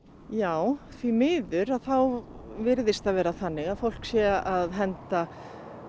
já því miður þá virðist það vera þannig að fólk sé að henda